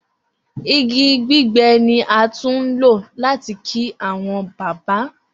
Igi gbigbẹ ni a tun lo lati ki awọn baba